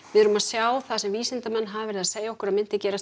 við erum að sjá það sem vísindamenn hafa verið að segja okkur að myndi gerast